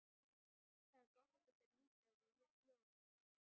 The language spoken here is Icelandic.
Það er gott að þér líkaði ljóðið.